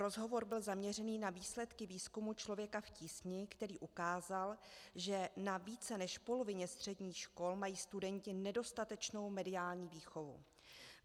Rozhovor byl zaměřen na výsledky výzkumu Člověka v tísni, který ukázal, že na více než polovině středních škol mají studenti nedostatečnou mediální výchovu.